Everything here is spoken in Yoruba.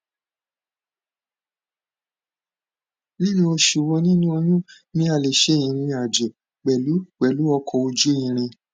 ninu osu wo ninu oyun ni a le se irin ajo pelu pelu oko oju iriǹ